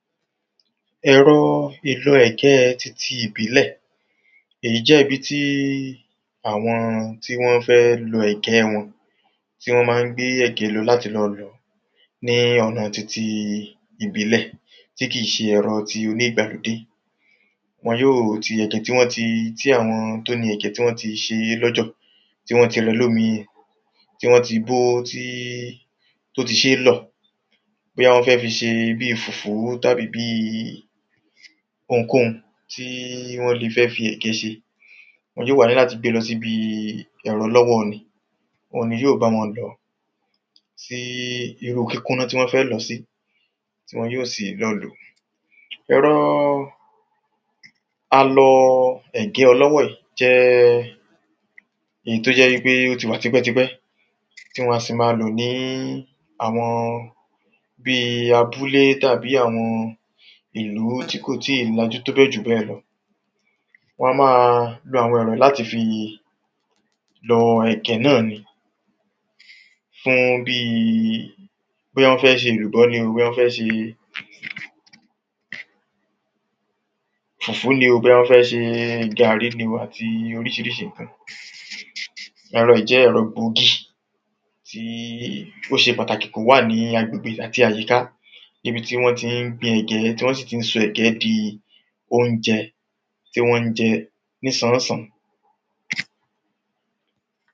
ẹ̀rọ ìlọ ẹ̀gẹ̀ títí ìbílẹ̀, èyí jẹ́ ibi tí àwọn tí wọ́n fẹ́ lọ ẹ̀gẹ̀ wọn ti wọ́n máa ń gbé ẹ̀gẹ̀ wọn lọ láti lọ lọ̀ ní ọ̀nà titi ìbílẹ̀ tí kì ń ṣe ẹ̀rọ ti oní ìgbàlódé wọn yóò, ti ẹ̀gẹ́ tí wọ́n tí àwọn tó ni ẹ̀gẹ́ tí wọ́n ti ṣe é lọ́jọ̀, tí wọ́n ti rẹ lómi yẹn, tí wọ́n ti bó, tí ó ti ṣe é lọ̀ bóyá wọ́n fẹ́ fi ṣe bíi fùfú tàbí bíi ohunkóhun tí wọ́n le fẹ́ fi ẹ̀gẹ́ ṣe wọn yóò wá ní láti gbée lọ síbi ẹ̀rọ lọ́wọ́omi, ohun ni yóò ba wọ́n lọ̀ọ́ sí irú kíkúná tí wọ́n fẹ́ lọ̀ọ́ sí, tí wọn yóò lọ lòó ẹ̀rọ alọ ẹ̀gẹ́ ọlọ́wọ́ yìí jẹ́ ìyí tó jẹ́ wípé ó ti wà tipẹ̀tipẹ̀ tí wan sì máa lò ní àwọn bíi abúlé tàbí àwọn ìlú tí kò tíì lajú tóbẹ́ẹ̀ jù bẹ́ẹ̀ lọ wan máa lo àwọn ẹ̀rọ yí láti fi lọ ẹ̀gẹ́ nọ́ni fún bíi bóyá wọ́n fẹ́ ṣe èlùbọ́ ní o bóyá wẹ́n fẹ́ ṣe fùfú ní o, bóyá wọ́n fẹ́ ṣe gàrí ní o àti oríṣiríṣi ǹkan. ẹ̀rọ yíí jẹ́ ẹ̀rọ gbòógì tí ó ṣe pàtàkì kó wà ní agbègbè àti àyíká ibi tí wọ́n ti ń gbin ẹ̀gẹ́ tí wọ́n sì ti ń sọ ẹ̀gẹ́ di oúnjẹ tí wọ́n jẹ ní sànánsàn.